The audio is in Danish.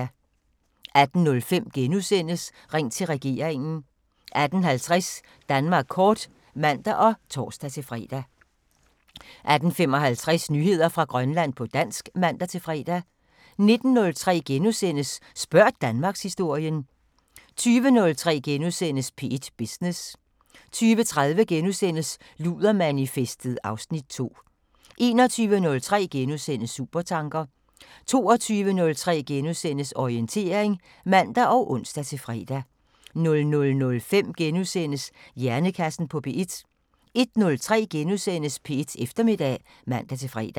18:05: Ring til regeringen * 18:50: Danmark kort (man og tor-fre) 18:55: Nyheder fra Grønland på dansk (man-fre) 19:03: Spørg Danmarkshistorien * 20:03: P1 Business * 20:30: Ludermanifestet (Afs. 2)* 21:03: Supertanker * 22:03: Orientering *(man og ons-fre) 00:05: Hjernekassen på P1 * 01:03: P1 Eftermiddag *(man-fre)